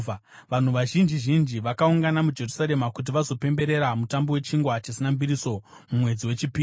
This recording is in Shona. Vanhu vazhinji zhinji vakaungana muJerusarema kuti vazopemberera Mutambo weChingwa Chisina Mbiriso mumwedzi wechipiri.